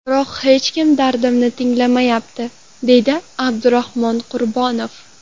Biroq hech kim dardimni tinglamayapti”, deydi Abdurahmon Qurbonov.